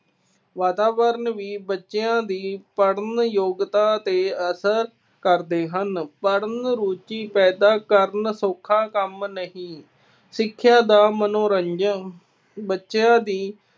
ਵਾਤਾਵਰਣ ਹੀ ਬੱਚਿਆ ਦੀ ਪੜ੍ਹਨ ਯੋਗਤਾ ਤੇ ਅਸਰ ਕਰਦੇ ਹਨ। ਪੜ੍ਹਨ ਰੁਚੀ ਪੈਦਾ ਕਰਨਾ, ਸੌਖਾ ਕੰਮ ਨਹੀਂ। ਸਿੱਖਿਆ ਦਾ ਮਨੋਰੰਜਨ। ਬੱਚਿਆਂ ਦੀ